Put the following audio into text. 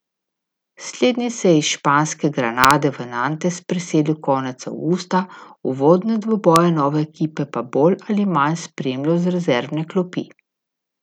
Slednji se je iz španske Granade v Nantes preselil konec avgusta, uvodne dvoboje nove ekipe pa bolj ali manj spremljal z rezervne klopi.